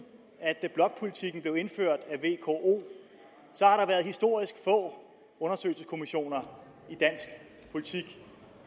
blokpolitikken blev indført af historisk få undersøgelseskommissioner i dansk politik